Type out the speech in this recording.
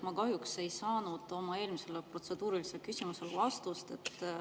Ma kahjuks ei saanud oma eelmisele protseduurilisele küsimusele vastust.